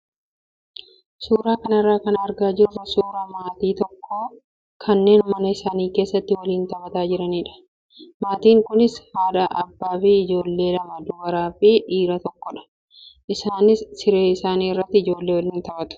Suuraa kanarraa kan argaa jirru suuraa maatii tokkoo kanneen mana isaanii keessatti waliin taphataa jiranidha. Maatiin kunis haadha, abbaa fi ijoollee lama dubaraa fi dhiira tokkodha. Isaanis siree isaanii irratti ijoollee waliin taphatu.